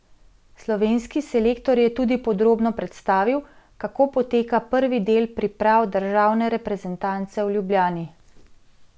Slovenski selektor je tudi podrobno predstavil, kako poteka prvi del priprav državne reprezentance v Ljubljani.